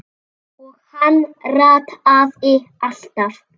Og hann rataði alltaf.